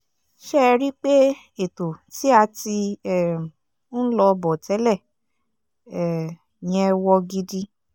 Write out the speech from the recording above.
ṣé ẹ rí i pé ètò tí a ti um ń lọ bọ̀ tẹ́lẹ̀ um yẹn wọ gidi